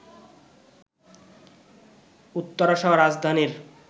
উত্তরাসহ রাজধানীর